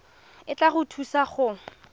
e tla go thusa go